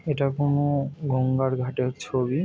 এটা কোনো গঙ্গার ঘাটের ছবি ।